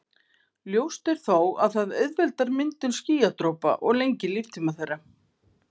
ljóst er þó að það auðveldar myndun skýjadropa og lengir líftíma þeirra